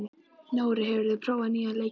Nóri, hefur þú prófað nýja leikinn?